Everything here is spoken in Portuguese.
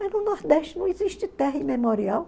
Mas no Nordeste não existe terra imemorial.